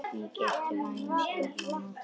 Mikið ertu vænn, segir mamma.